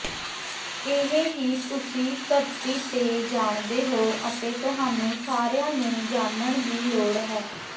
ਇਹ ਹੀ ਤੁਸੀਂ ਧਰਤੀ ਤੇ ਜਾਣਦੇ ਹੋ ਅਤੇ ਤੁਹਾਨੂੰ ਸਾਰਿਆਂ ਨੂੰ ਜਾਣਨ ਦੀ ਲੋੜ ਹੈ